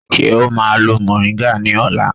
Ṣé o má a lo mòríńgà ní ọ̀la?